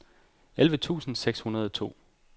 elleve tusind seks hundrede og to